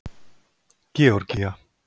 Georgía